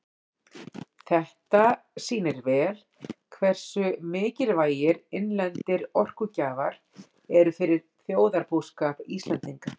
Þetta sýnir vel hversu mikilvægir innlendir orkugjafar eru fyrir þjóðarbúskap Íslendinga.